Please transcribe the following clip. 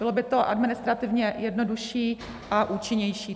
Bylo by to administrativně jednodušší a účinnější.